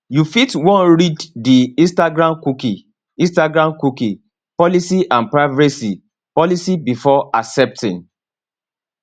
you fit wan read di instagramcookie instagramcookie policyandprivacy policybefore accepting